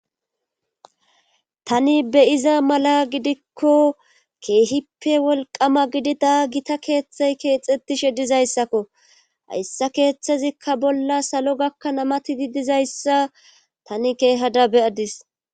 Tani beyiza mala gidikko keehippe wolqama gidida gita keeththey keexetishe dizayssakko hayssa keeththezikka bolla salo gakka namatidi dizayssa tani keehada beyadis.